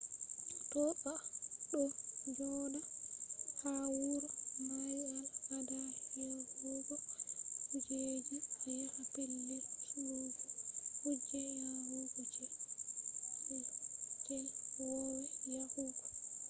to a ɗo joɗa ha wuro mari al ada yarugo kujeji a yaha pellel surugo kuje yarugo je i wowai yahugo